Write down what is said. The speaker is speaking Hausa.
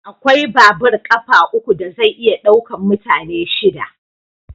Akwai babur ƙafa uku da zai iya ɗaukan mutane shida.